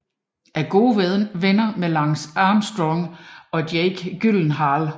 Er gode venner med Lance Armstrong og Jake Gyllenhaal